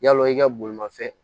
Yalo i ka bolimafɛn